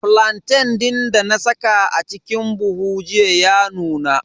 Flantain din dana saka a cikin buhu jiya ya nuna.